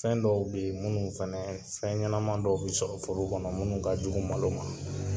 Fɛn dɔw bɛ yen minnu fana fɛnɲɛnaman dɔw bɛ sɔrɔ foro kɔnɔ minnu ka jugu malo ma.